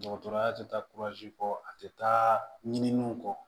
Dɔgɔtɔrɔya tɛ taa kɔ a tɛ taa ɲininiw kɔ